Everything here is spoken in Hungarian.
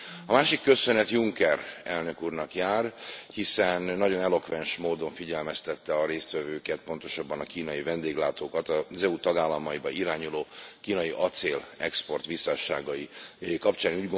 A másik köszönet Juncker elnök úrnak jár, hiszen nagyon elokvens módon figyelmeztette a résztvevőket, pontosabban a kínai vendéglátókat, az EU tagállamaiba irányuló kínai acélexport visszásságai kapcsán.